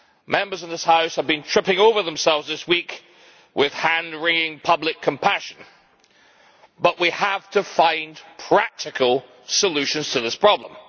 Members of this House have been tripping over themselves this week with hand wringing public compassion, but we have to find practical solutions to this problem.